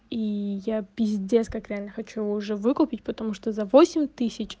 и я пиздец как реально хочу уже выкупить потому что за восемь тысяч